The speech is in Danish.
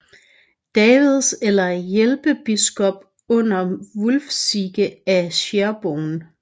Davids eller hjælpebiskop under Wulfsige af Sherborne